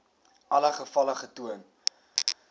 alle gevalle getoon